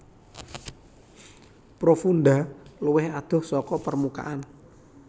Profunda luwih adoh saka permukaan